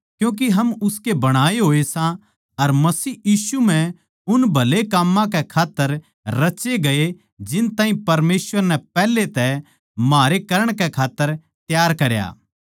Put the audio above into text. क्यूँके हम उसके बणाए होए सां अर मसीह यीशु म्ह उन भले काम्मां के खात्तर रचे गये जिन ताहीं परमेसवर नै पैहले तै म्हारे करण कै खात्तर तैयार करया